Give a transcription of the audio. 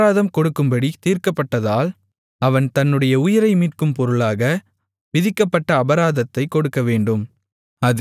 அபராதம் கொடுக்கும்படி தீர்க்கப்பட்டதால் அவன் தன்னுடைய உயிரை மீட்கும் பொருளாக விதிக்கப்பட்ட அபராதத்தைக் கொடுக்கவேண்டும்